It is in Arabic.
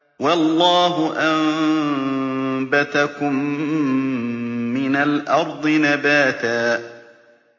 وَاللَّهُ أَنبَتَكُم مِّنَ الْأَرْضِ نَبَاتًا